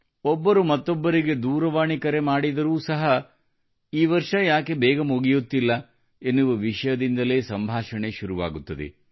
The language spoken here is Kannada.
ಯಾರಾದರೂ ಮತ್ತೊಬ್ಬರಿಗೆ ದೂರವಾಣಿ ಕರೆ ಮಾಡಿದರೂ ಸಹ ಈ ವರ್ಷ ಯಾಕೆ ಬೇಗ ಮುಗಿಯುತ್ತಿಲ್ಲ ಎನ್ನುವ ವಿಷಯದಿಂದಲೇ ಸಂಭಾಷಣೆ ಶುರುವಾಗುತ್ತದೆ